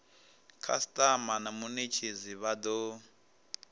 khasitama na munetshedzi vha do